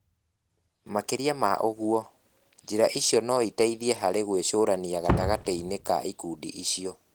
Makĩria ma ũguo, njĩra icio no iteithie harĩ gwĩcũrania gatagatĩ-inĩ ka ikundi icio.